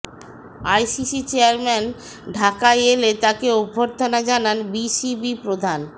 ICC chairman ঢাকায় এলে তাকে অভ্যর্থনা জানান বিসিবি প্রধান